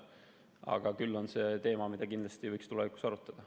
Aga küll on see teema, mida kindlasti võiks tulevikus arutada.